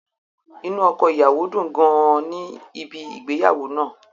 Inu ọkọ-iyawo dun gan an ni ibi ìgbéyàwó naa.